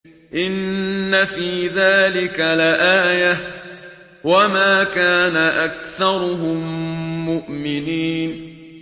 إِنَّ فِي ذَٰلِكَ لَآيَةً ۖ وَمَا كَانَ أَكْثَرُهُم مُّؤْمِنِينَ